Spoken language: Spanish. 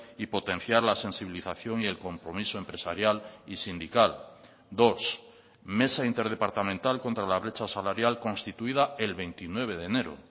y potenciar las sensibilización y el compromiso empresarial y sindical dos mesa interdepartamental contra la brecha salarial constituida el veintinueve de enero